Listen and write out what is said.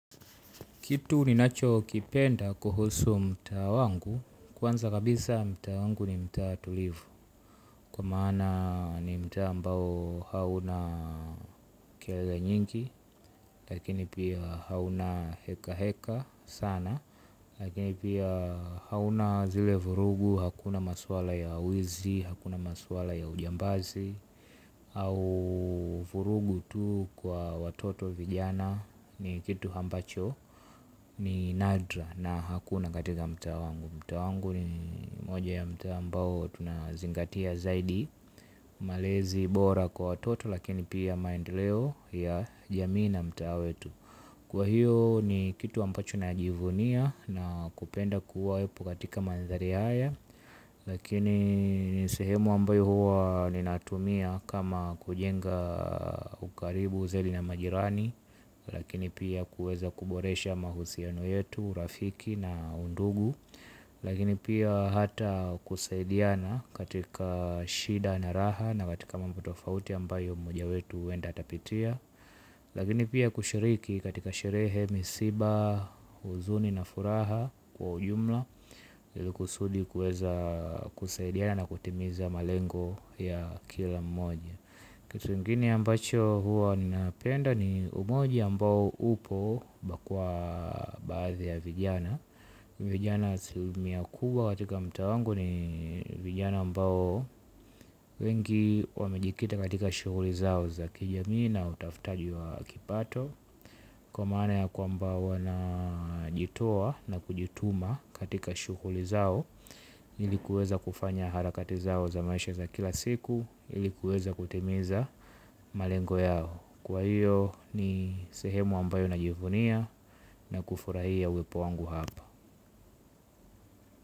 Kitu ninachokipenda kuhusu mtaa wangu, kwanza kabisa mtaa wangu ni mtaa tulivu, kwa maana ni mtaa ambao hauna kelele nyingi, lakini pia hauna hekaheka sana, lakini pia hauna zile vurugu, hakuna maswala ya wizi, hakuna maswala ya ujambazi, au vurugu tu kwa watoto vijana ni kitu ambacho. Ni nadra na hakuna katika mtaa wangu. Mtaa wangu ni moja ya mtaa ambao tunazingatia zaidi. Malezi bora kwa watoto lakini pia maendeleo ya jamii na mtaa wetu. Kwa hiyo ni kitu ambacho najivunia na kupenda kuwepo katika manthari haya. Lakini ni sehemu ambayo huwa ninatumia kama kujenga ukaribu zeli na majirani. Lakini pia kuweza kuboresha mahusiano yetu, urafiki na undugu. Lakini pia hata kusaidiana katika shida na raha na katika mambo tofauti ambayo moja wetu huenda atapitia. Lakini pia kushiriki katika sherehe misiba, huzuni na furaha kwa ujumla. Kusudi kuweza kusaidiana na kutimiza malengo ya kila mmoja. Kitu ingine ambacho huwa napenda ni umoja ambao upo hapa kwa baadhi ya vijana. Vijana asilimia kubwa katika mtaa wangu ni vijana ambao wengi wamejikita katika shughuli zao za kijamii na utafutaji wa kipato. Kwa maana ya kwamba wanajitoa na kujituma katika shughuli zao ili kuweza kufanya harakati zao za maisha za kila siku ili kuweza kutimiza malengo yao. Kwa hiyo ni sehemu ambayo najivunia na kufurahia uwepo wangu hapa.